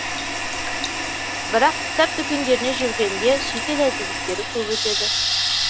бірақ кітап дүкендерінде жүргенде шетел әдебиеттері көп өтеді